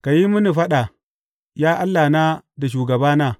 Ka yi mini faɗa, ya Allahna da shugabana.